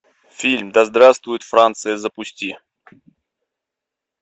фильм да здравствует франция запусти